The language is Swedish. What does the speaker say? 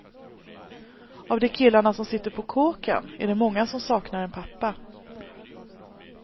Av de killarna som sitter på kåken är det många som saknar en pappa.